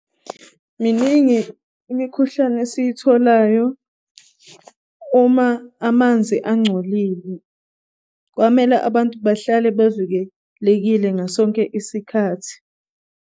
Miningi imikhuhlane esiy'tholayo uma amanzi angcolile, kwamele abantu bahlale bevikelekile ngasonke isikathi.